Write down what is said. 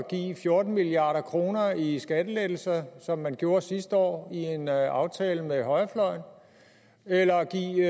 give fjorten milliard kroner i skattelettelser som man gjorde sidste år i en aftale med højrefløjen eller give